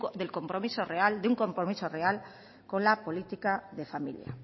de un compromiso real con la política de familia